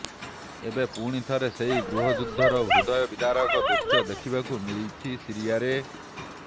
ଏବେ ପୁଣିଥରେ ସେହି ଗୃହଯୁଦ୍ଧର ହୃଦୟ ବିଦାରକ ଦୃଶ୍ୟ ଦେଖିବାକୁ ମିଳିଛି ସିରିଆରେ